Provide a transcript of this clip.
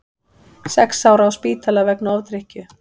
Sex ára á spítala vegna ofdrykkju